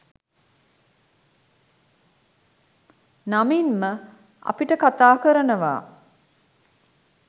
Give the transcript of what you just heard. නමින්ම අපිට කතා කරනවා